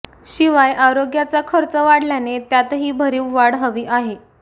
शिवाय आरोग्याचा खर्च वाढल्याने त्यातही भरीव वाढ हवी आहे